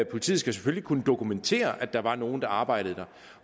politiet skal selvfølgelig kunne dokumentere at der var nogle der arbejdede der